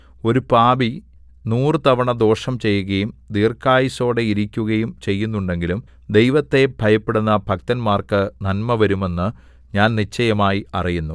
ഒരു പാപി നൂറു തവണ ദോഷം ചെയ്യുകയും ദീർഘായുസ്സോടെ ഇരിക്കുകയും ചെയ്യുന്നുണ്ടെങ്കിലും ദൈവത്തെ ഭയപ്പെടുന്ന ഭക്തന്മാർക്കു നന്മ വരുമെന്ന് ഞാൻ നിശ്ചയമായി അറിയുന്നു